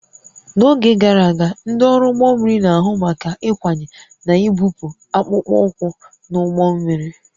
N'oge gara aga, ndị ọrụ ụgbọ mmiri na-ahụ maka ịkwanye na ibupụ akpụkpọ ụkwụ n'ụgbọ mmiri